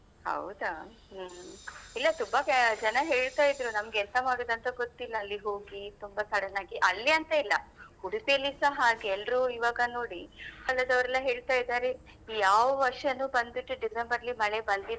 ಹೌದಾ ಹ್ಮ್ ಇಲ್ಲ ತುಂಬಾ ಜನ ಹೇಳ್ತಾ ಇದ್ರು ನಮ್ಗೆ ಎಂತ ಮಾಡುದಂತ ಗೊತ್ತಿಲ್ಲ ಅಲ್ಲಿ ಹೋಗಿ ತುಂಬಾ sudden ನಾಗಿ ಅಲ್ಲಿ ಅಂತ ಅಲ್ಲ ಉಡುಪಿಯಲ್ಲಿಸ ಹಾಗೆ ಎಲ್ರು ಈವಾಗ ನೋಡಿ ಎಲ್ಲ ಹೇಳ್ತಾ ಇದ್ದಾರೆ ಯಾವ ವರ್ಷನೂ ಬಂದ್ಬಿಟ್ಟು ಡಿಸೆಂಬರ್ ಅಲ್ಲಿ ಮಳೆ ಬಂದಿದೇ.